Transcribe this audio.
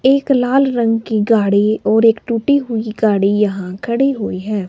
एक लाल रंग की गाड़ी और एक टूटी हुई गाड़ी यहाँ खड़ी हुई है।